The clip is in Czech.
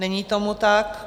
Není tomu tak.